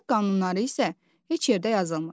Əxlaq qanunları isə heç yerdə yazılmır.